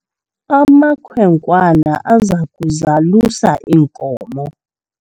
amakhwenkwana aza kuzalusa iinkomo